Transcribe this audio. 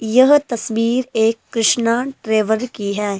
यह तस्वीर एक कृष्णा ट्रैवल की है।